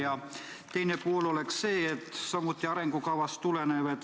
Ja teine pool tuleneb samuti arengukavast.